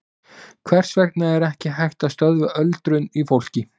Hvers vegna er ekki hægt að stöðva öldrun í fólki?